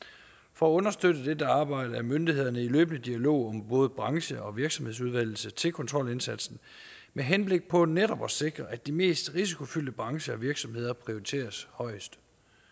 for at understøtte dette arbejde er myndighederne i løbende dialog om både branche og virksomhedsudvælgelse til kontrolindsatsen med henblik på netop at sikre at de mest risikofyldte brancher og virksomheder prioriteres højest